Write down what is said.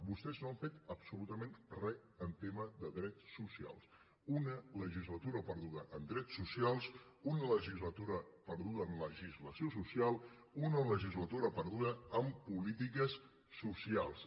vostès no han fet absolutament res en tema de drets socials una legislatura perduda en drets socials una legislatura perduda en legislació social una legislatura perduda en polítiques socials